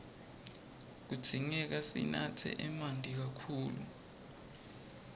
kudzingeka sinatse emanti kakhulu